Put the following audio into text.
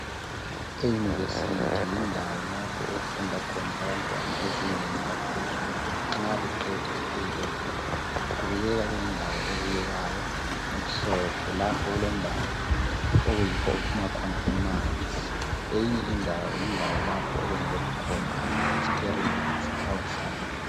I university yindawo lapho okufunda khona abantwana ezingeni laphezulu nxa beqeda i A level . Kubukeka kuyindawo ebukekayo emhlophe lapho okulendawo okuyikho okuphuma khona amanzi .Eyinye indawo yindawo lapho okwenzelwa khona ama experiments awe science .